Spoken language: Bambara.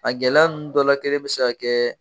A gɛlɛya ninnu dɔ la kelen bɛ se ka kɛ.